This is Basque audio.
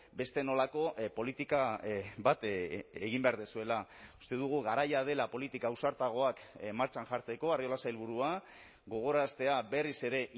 beste nolako politika bat egin behar duzuela uste dugu garaia dela politika ausartagoak martxan jartzeko arriola sailburua gogoraraztea berriz ere